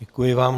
Děkuji vám.